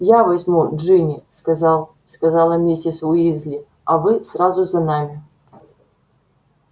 я возьму джинни сказал сказала миссис уизли а вы сразу за нами